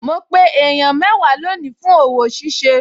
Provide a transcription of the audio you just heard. Mo pe èèyàn mẹ́wàá lónìí fún òwò ṣíṣe